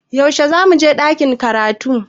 Yaushe zamu je ɗakin karatu?